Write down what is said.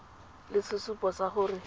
le sesupo sa gore o